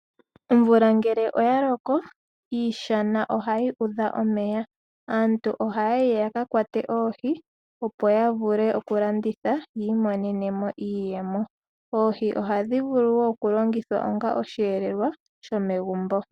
Omvula ngele oyaloko, iishana ohayi udha omeya. Aantu ohayayi yaka kwate oohi, opo yavule okulanditha yiimonene mo iiyemo. Oohi ohadhi vulu wo okulongithwa onga osheelelwa shomegumbo.